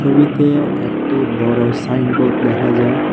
জমিতে একটি বড়ো সাইনবোর্ড দেখা যায়।